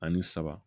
Ani saba